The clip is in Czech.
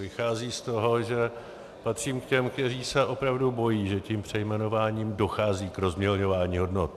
Vychází z toho, že patřím k těm, kteří se opravdu bojí, že tím přejmenováním dochází k rozmělňování hodnot.